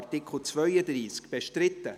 / 4.2.4 Indemnisation Art.